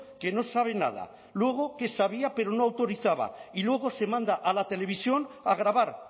que no sabe nada luego que sabía pero no autorizaba y luego se manda a la televisión a grabar